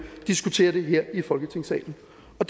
diskutere det her i folketingssalen